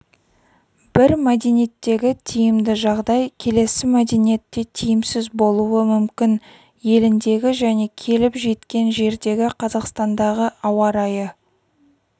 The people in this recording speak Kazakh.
бір мәдениеттегі тиімді жағдай келесі мәдениетте тиімсіз болуы мүмкін еліндегі және келіп жеткен жердегі қазақстандағы ауа-райы